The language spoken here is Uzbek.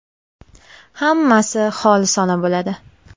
Hammasi xolisona bo‘ladi”.